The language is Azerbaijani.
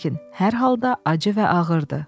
Lakin hər halda acı və ağırdır.